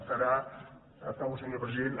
estarà acabo senyor president